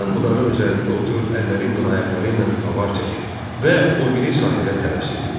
Ram budağın üzərində oturub əlləri ilə, ayaqları ilə avar çəkir və o biri sahilə tələsirdi.